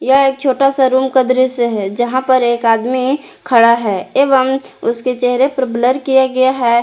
यह एक छोटा सा रूम का दृश्य है जहां पर एक आदमी खड़ा है एवं उसके चेहरे पर ब्लर किया गया है।